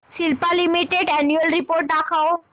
Cipla limited annual report दाखव